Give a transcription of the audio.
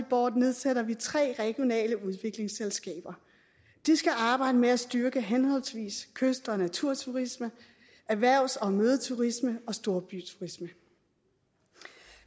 board nedsætter vi tre regionale udviklingsselskaber de skal arbejde med at styrke henholdsvis kyst og naturturisme erhvervs og mødeturisme og storbyturisme